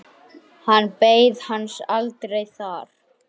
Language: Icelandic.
Hann beið hans aldrei þar.